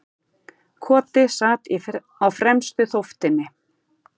Koti sat á fremstu þóftunni.